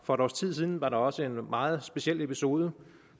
for et års tid siden var der også en meget speciel episode